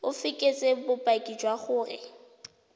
o fekese bopaki jwa gore